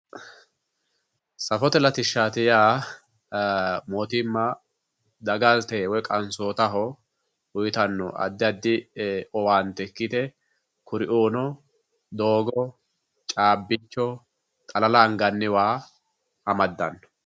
Safote latishshaati yaa mootimma dagate woy qansootaho uuyiitanno addi addi owaante ikkite kuriuuno doogo, caabbicho, xalala anganni waa amaddanno.